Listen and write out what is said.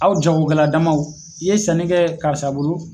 Aw jagokɛla damaw i ye sanni kɛ karisa bolo